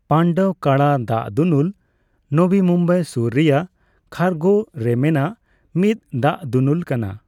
ᱯᱟᱱᱰᱚᱵᱽᱠᱟᱲᱟ ᱫᱟᱜᱫᱩᱱᱩᱞ ᱱᱚᱵᱤ ᱢᱩᱢᱵᱟᱭ ᱥᱩᱨ ᱨᱮᱭᱟᱜ ᱠᱷᱟᱨᱜᱷᱚ ᱨᱮ ᱢᱮᱱᱟᱜ ᱢᱤᱫ ᱫᱟᱜ ᱫᱩᱱᱩᱞ ᱠᱟᱱᱟ ᱾